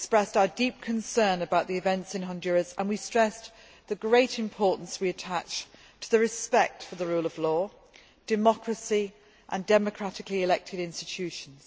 We expressed our deep concern about the events in Honduras and we stressed the great importance we attach to the respect for the rule of law, democracy and democratically elected institutions.